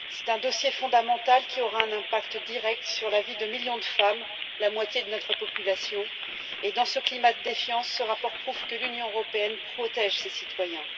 C'est un dossier fondamental qui aura un impact direct sur la vie de millions de femmes, la moitié de notre population. Dans ce climat de défiance, ce rapport prouve que l'Union européenne protège ses citoyens.